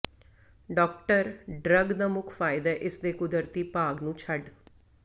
doctor drug ਦਾ ਮੁੱਖ ਫਾਇਦਾ ਇਸ ਦੇ ਕੁਦਰਤੀ ਭਾਗ ਨੂੰ ਛੱਡ